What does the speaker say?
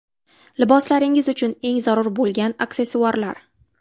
Liboslaringiz uchun eng zarur bo‘lgan aksessuarlar .